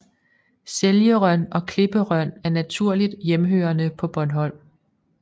Seljerøn og klipperøn er naturligt hjemmehørende på Bornholm